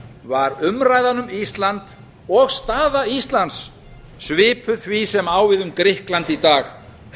var umræðan um ísland og staða íslands svipuð því sem á við um grikkland í dag